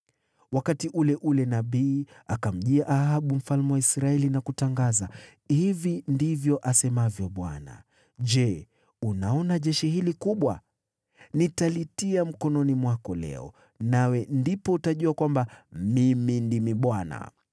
Wakati ule ule nabii akamjia Ahabu mfalme wa Israeli na kutangaza, “Hivi ndivyo asemavyo Bwana : ‘Je, unaona jeshi hili kubwa? Nitalitia mkononi mwako leo, nawe ndipo utajua kwamba mimi ndimi Bwana .’”